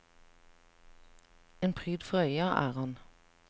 En pryd for øya er han.